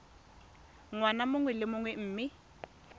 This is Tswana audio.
ngwaga mongwe le mongwe mme